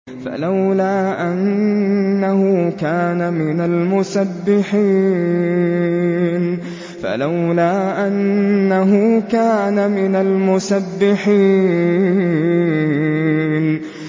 فَلَوْلَا أَنَّهُ كَانَ مِنَ الْمُسَبِّحِينَ